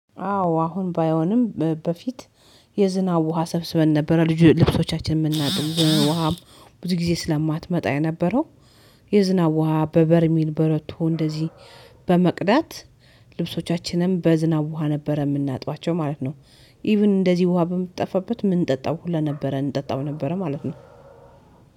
አዎ አሁን ባይሆንም በፊት የዝናብ ውሃ ሰብስበን ነበረ ልብሶቻችን የምናጥብ። ውሃም ብዙ ጊዜ ስለማትመጣ የነበረው የዝናብ ውሃ በበርሚንል በረቶ እንደዚህ በመቅዳት ልብሶቻችንም በዝናብ ውሃ ነበረ የምናጧቸው ማለት ነው፤ ኢቭን እንደዚህ ውሃ በምትጠፋበት ምንጠጣው ሁላ ነበረ እንጠጣው ነበረ ማለት ነው።